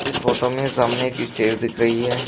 इस फोटो में सामने एक स्टेज दिख रही है।